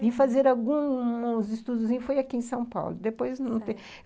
Vim fazer alguns estudos e fui aqui em São Paulo depois